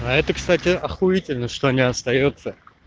а это кстати охуительно что не остаётся